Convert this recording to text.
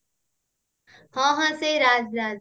ହଁ ହଁ ସେଇ ରାଜ ରାଜ